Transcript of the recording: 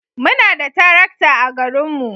Muna da tarakta a garinmu.